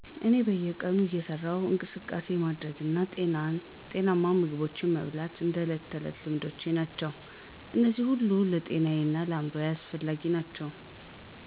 እኔ በየቀኑ እየሠራሁ እንቅስቃሴ ማድረግና ጤናማ ምግብ መበላት እንደ ተዕለት ልማዶቼ ናቸው። እነዚህ ሁሉ ለጤናዬ እና ለአእምሮዬ አስፈላጊ ናቸው።